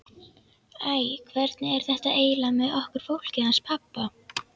Æ, hvernig er þetta eiginlega með okkur fólkið hans pabba?